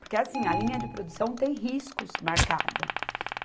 Porque assim, a linha de produção tem riscos marcados.